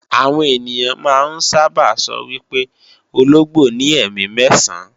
Àwọn ènìyàn máa ń sábà sọ wí pé ológbò ní ẹ̀mí mẹ́ẹ̀sán